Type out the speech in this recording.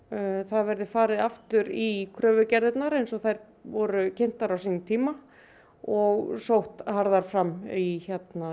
að það verði farið aftur í kröfugerðir eins og þær voru kynntar á sínum tíma og sótt harðar fram í